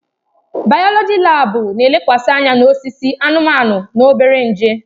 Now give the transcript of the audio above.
Bayoloji laabu na-elekwasị anya na osisi, anụmanụ na obere nje.